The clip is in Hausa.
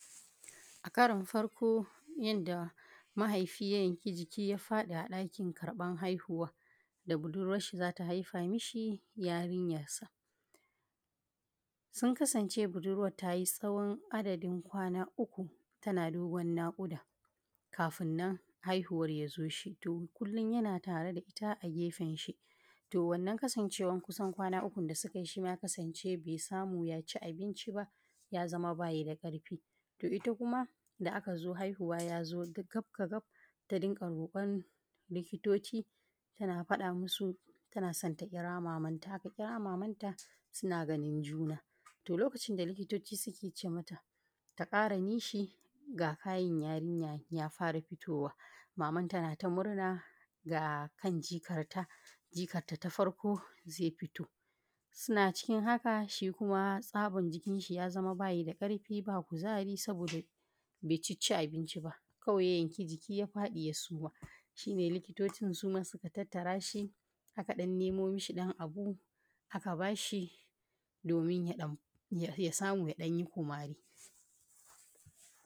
a karon farko yanda mahaifi ya yanki jiki ya faɗi a ɗakin karɓan haihuwa, da budurwar shi za ta haifa mishi yarinyarsa. Sun kasance budurwar ta yi tsawon adadin kwana uku tana dogon naƙuda, kafin nan haihuwar ya zo. to kullum yana tare da ita a gefenshi. To wannan kasancewar kusan kwana ukun da suka yi, shi ma ya kasance bai samu ya ci abinci ba, ya zama ba shi da ƙarfi. Ita kuma, da aka zo haihuwa ya zo mata gab, ta dinga rokon likitoci ta faɗa masu tana son ta ƙira mamanta, aka ƙira mamanta suna ganin juna. to lokacin da likitoci suke ce mata, ta ƙaara nishi ga kan jaririya ya fara fitowa, mamanta na ta murna ga kan jikarta ta farko zai fito. Suna cikin haka, shi kuma tsaban jikinshi ya zama ba shi da ƙarfi ba kuzaari saboda bai ci abinci ba, kawai ya yanki jiki ya faɗi ya suma. shi ne likitocin shi ma suka tattara shi, aka ɗan nemo mishi ɗan abu aka ba shi domin ya samu ya ɗan yi kumaarii.